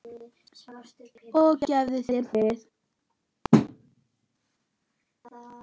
Og gefi þér frið.